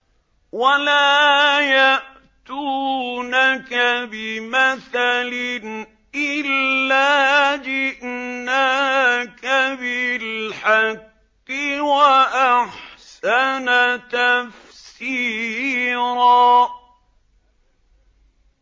وَلَا يَأْتُونَكَ بِمَثَلٍ إِلَّا جِئْنَاكَ بِالْحَقِّ وَأَحْسَنَ تَفْسِيرًا